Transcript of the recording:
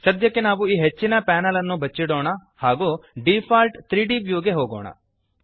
ಸದ್ಯಕ್ಕೆ ನಾವು ಈ ಹೆಚ್ಚಿನ ಪ್ಯಾನೆಲ್ಅನ್ನು ಬಚ್ಚಿಡೋಣ ಹಾಗೂ ಡಿಫಾಲ್ಟ್ 3ದ್ ವ್ಯೂ ಗೆ ಹೋಗೋಣ